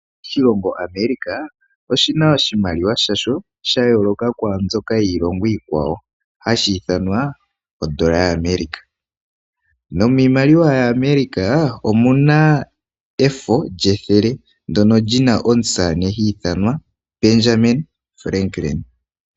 Oshilongo America oshina iimaliwa yasho ya yooloka kwaambyoka yiilongo iikwawo hashi ithanwa ondola yaAmerica, nomiimaliwa yaAmerica omuna efo lyethele ndyono lyina omusamane hi ithanwa Benjamin Franklin.